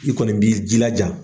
I kɔni b'i ji laja.